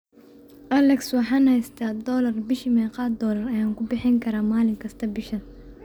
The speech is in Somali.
alexa waxaan haystaa doollar bishii meeqa doollar ayaan ku bixin karaa maalin kasta bishan